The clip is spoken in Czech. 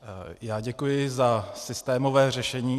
Já děkuji za systémové řešení.